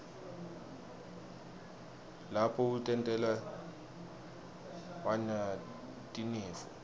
lapho utentela wna tinifo